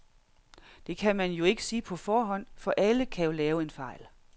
Det kan man jo ikke sige på forhånd, for alle kan jo lave en fejl.